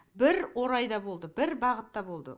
бір орайда болды бір бағытта болды